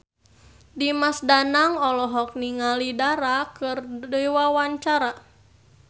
Dimas Danang olohok ningali Dara keur diwawancara